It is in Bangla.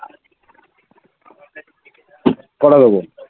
কটা দেব?